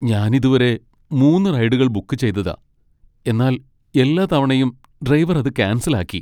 ഞാൻ ഇതുവരെ മൂന്ന് റൈഡുകൾ ബുക്ക് ചെയ്തതാ , എന്നാൽ എല്ലാ തവണയും ഡ്രൈവർ അത് ക്യാൻസൽ ആക്കി .